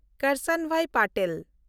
Karsanbhai Patel